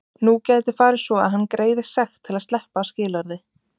Nú gæti farið svo að hann greiði sekt til að sleppa af skilorði.